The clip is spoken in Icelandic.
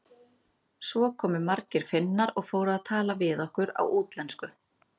Svo komu margir Finnar og fóru að tala við okkur á útlensku.